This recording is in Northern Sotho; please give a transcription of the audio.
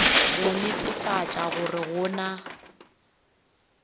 go netefatša gore go na